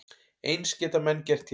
Eins geta menn gert hér.